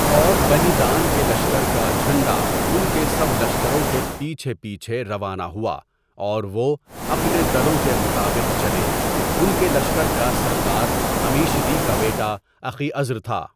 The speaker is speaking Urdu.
اور بنی دان کے لشکر کا جھنڈا اُن کے سب لشکروں کے پِیچھے پیچھے روانہ ہُؤا اور وہ اپنے دَلوں کے مُطابِق چلے اُن کے لشکر کا سردار عِمیشدی کا بَیٹا اخیعزر تھا.